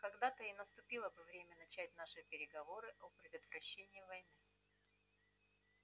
когда-то и наступило бы время начать наши переговоры о предотвращении войны